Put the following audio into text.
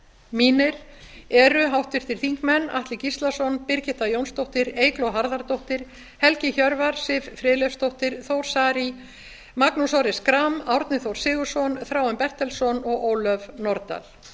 mínir eru háttvirtir þingmenn atli gíslason birgitta jónsdóttir eygló harðardóttir helgi hjörvar siv friðleifsdóttir þór saari magnús orri schram árni þór sigurðsson þráinn bertelsson og ólöf nordal